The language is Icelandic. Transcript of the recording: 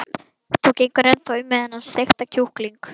Þú gengur ennþá um með þennan steikta kjúkling.